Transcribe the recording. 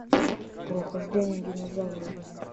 прохождение динозавра